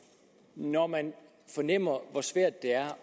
når man fornemmer hvor svært det er